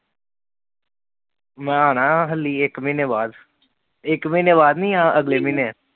ਮੈਂ ਆਣਾ ਹੱਲੀ ਇਕ ਮਹੀਨੇ ਬਾਅਦ, ਇਕ ਮਹੀਨੇ ਬਾਅਦ ਨਹੀਂ, ਅਹ ਅਗਲੇ ਮਹੀਨੇ